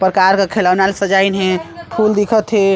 प्रकार क खिलौना ल से सजाइन हे फूल दिखथ हे।